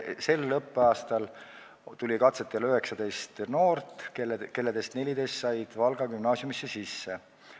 Sel õppeaastal tuli katsetele 19 noort, nendest 14 said Valga Gümnaasiumisse sisse.